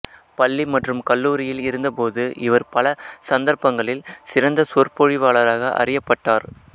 பள்ளி மற்றும் கல்லூரியில் இருந்தபோது இவர் பல சந்தர்ப்பங்களில் சிறந்த சொற்பொழிவாளராக அறியப்பட்டார்